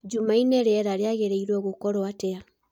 jũmanne rĩera rĩagĩrĩrwo gũkorwo atĩa